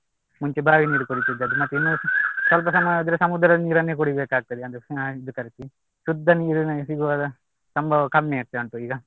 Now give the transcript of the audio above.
ಮುಂಚೆ ಬಾವಿ ನೀರ್ ಕುಡಿತಿದ್ದದ್ದು ಮತ್ತೆ ಇನ್ನು ಸ್ವಲ್ಪ ಸಮಯ ಹೋದ್ರೆ ಸಮುದ್ರದ ನೀರನ್ನೇ ಕುಡಿಬೇಕಾಗ್ತದೆ ಅಂದ್ರೆ ಇದು ತರ್ಸಿ ಶುದ್ಧ ನೀರು ಸಿಗುವ ಸಂಭವ ಕಡಿಮೆ ಆಗ್ತಾ ಉಂಟು ಈಗ